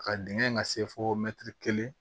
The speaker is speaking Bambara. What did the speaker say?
A ka dingɛn ka se fo kelen